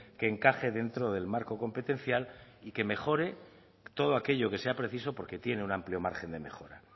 que encaje dentro del marco competencial y que mejore todo aquello que sea preciso porque tiene un amplio margen de mejora